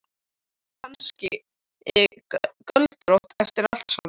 Var hún kannski göldrótt eftir allt saman?